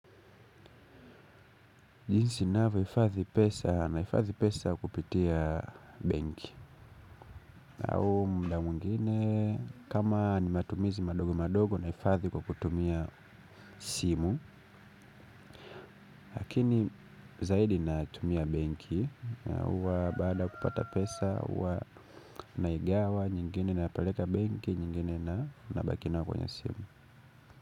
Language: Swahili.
Jinsi ninavyo hifadhi pesa nahifadhi pesa kupitia benki. Au mda mwingine kama ni matumizi madogo madogo nahifathi kwa kutumia simu. Lakini zaidi natumia benki. Uwa baada kupata pesa huwa naigawa nyingine napaleka benki nyingine na nabaki nayo kwenye simu.